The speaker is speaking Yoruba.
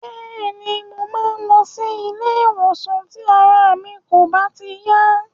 Bẹ́ẹ̀ni, mo máa ń lọ ilé-ìwòsàn tí ara mi kò bá ti yá.